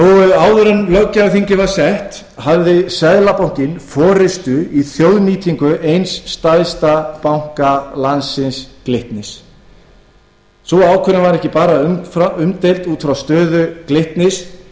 en löggjafarþingið var sett hafði seðlabankinn forustu í þjóðnýtingu eins stærsta banka landsins glitnis sú ákvörðun var ekki bara umdeild út frá stöðu glitnis